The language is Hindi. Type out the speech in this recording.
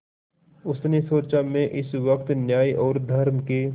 उसने सोचा मैं इस वक्त न्याय और धर्म के